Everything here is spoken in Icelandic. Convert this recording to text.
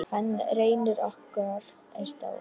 Hann Reynir okkar er dáinn.